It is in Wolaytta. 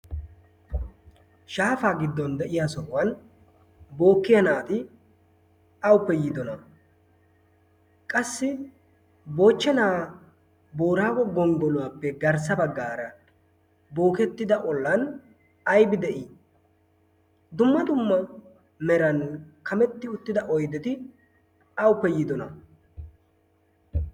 shaafaa giddon de7iya sohuwan bookkiya naati awuppe yiidona? qassi moochchenaa boraago gonggoluwaappe garssa baggaara bookettida ollan aibi de7ii? dumma dumma meran kametti uttida oideti awuppe yiidona?